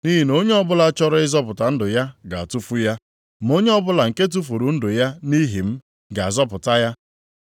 Nʼihi na onye ọbụla chọrọ ịzọpụta ndụ ya ga-atụfu ya. Ma onye ọbụla nke tufuru ndụ ya nʼihi m, ga-azọpụta ya.